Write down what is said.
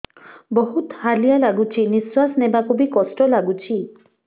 ବହୁତ୍ ହାଲିଆ ଲାଗୁଚି ନିଃଶ୍ବାସ ନେବାକୁ ଵି କଷ୍ଟ ଲାଗୁଚି